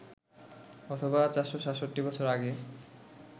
অথবা ৪৬৭ বছর আগে